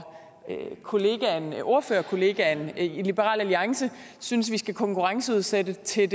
ordførerkollegaen i liberal alliance synes vi skal konkurrenceudsætte til